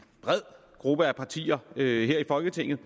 bred gruppe af partier her i folketinget